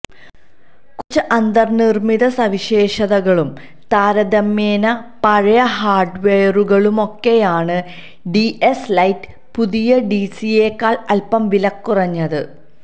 കുറച്ച് അന്തർനിർമ്മിത സവിശേഷതകളും താരതമ്യേന പഴയ ഹാർഡ്വെയറുകളുമൊക്കെയാണ് ഡിഎസ് ലൈറ്റ് പുതിയ ഡിസിയെക്കാൾ അല്പം വിലകുറഞ്ഞത്